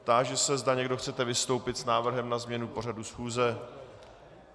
Táži se, zda někdo chcete vystoupit s návrhem na změnu pořadu schůze.